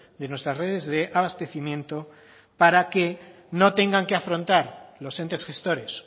de nuestras redes de abastecimiento para que no tengan que afrontar los entes gestores